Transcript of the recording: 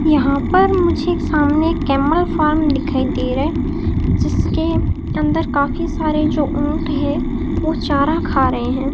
यहां पर मुझे एक सामने कैमल फार्म दिखाई दे रहा है जिसके अंदर काफी सारे जो ऊंट हैं वो चारा खा रहे हैं।